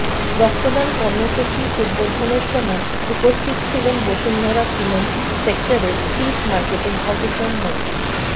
রক্তদান কর্মসূচি উদ্বোধনের সময় উপস্থিত ছিলেন বসুন্ধরা সিমেন্ট সেক্টরের চিফ মার্কেটিং অফিসার মো